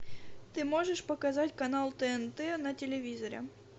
ты можешь показать канал тнт на телевизоре